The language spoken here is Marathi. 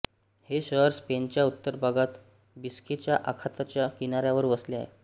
हे शहर स्पेनच्या उत्तर भागात बिस्केच्या आखाताच्या किनाऱ्यावर वसले आहे